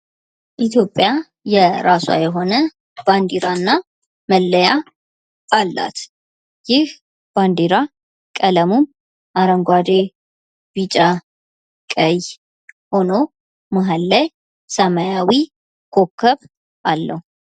ኢትዮጵያ የራሷ የሆነ ባንዴራና መለያ አላት ። ይህ ባንዲራ ቀለሙም አረንጓዴ ፣ ቢጫ ፣ ቀይ ሁኖ መሀል ላይ ሰማያዊ ኮከብ አለው ።